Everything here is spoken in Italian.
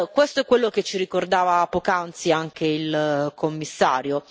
Questo è quello che ci ricordava poc'anzi anche il Commissario.